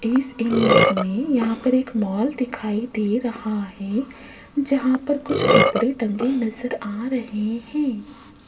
इस इमेज में यहां पर एक मॉल दिखाई दे रहा है जहां पर कुछ कपड़े टंगे नजर आ रहे हैं।